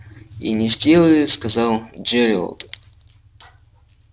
и не сделает сказал джералд